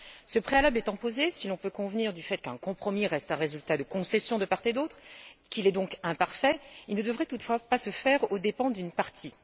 Ce préalable étant posé, si l'on peut convenir du fait qu'un compromis reste un résultat de concessions de part et d'autre, qu'il est donc imparfait, il ne devrait toutefois pas se faire aux dépens d'une partie.